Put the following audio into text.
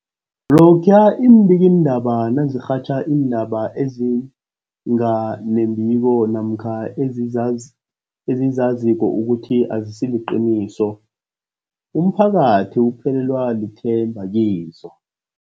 Lokhuya iimbikiindaba nazirhatjha iindaba ezinga nembiko namkha ezizaz ezizaziko ukuthi azisiliqiniso, umphakathi uphelelwa lithemba kizo.